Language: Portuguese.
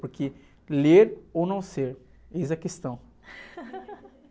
Porque ler ou não ser, eis a questão.